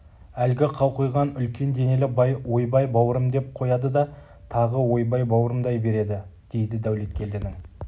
әлгі қауқиған үлкен денелі бай ойбай бауырым деп қояды да тағы ойбай бауырымдай береді дейді дәулеткелдінің